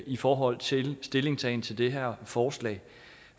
i forhold til stillingtagen til det her forslag